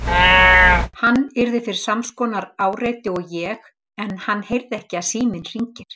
Hann yrði fyrir sams konar áreiti og ég en hann heyrði ekki að síminn hringir.